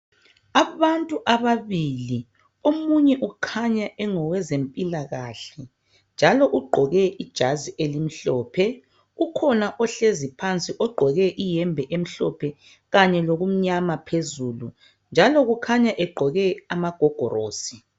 abantu ababili omunye ukhanya ongowezempilakahle njalo ugqoke ijazi elimhlophe ukhona ohlezi phansi ogqoke iyembe emhlophe kanye lokumnyama phezulu njalo kukhanya egqoke amagogolosi